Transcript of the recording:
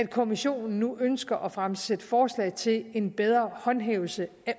kommissionen nu ønsker at fremsætte forslag til en bedre håndhævelse